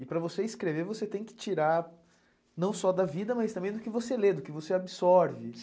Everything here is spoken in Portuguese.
E para você escrever, você tem que tirar não só da vida, mas também do que você lê, do que você absorve.